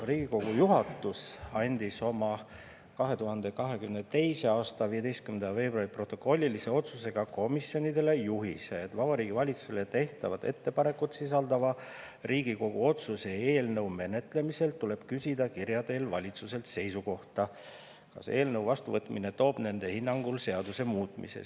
Riigikogu juhatus andis oma 2022. aasta 15. veebruari protokollilise otsusega komisjonidele juhised, et Vabariigi Valitsusele tehtavat ettepanekut sisaldava Riigikogu otsuse eelnõu menetlemisel tuleb küsida kirja teel valitsuse seisukohta, kas eelnõu vastuvõtmine toob hinnangul kaasa seaduse muutmise.